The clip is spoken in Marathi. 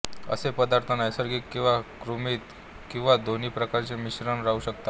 असे पदार्थ नैसर्गिक किंवा कृत्रिम किंवा दोन्ही प्रकारचे मिश्रण राहु शकतात